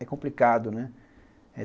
É complicado, né?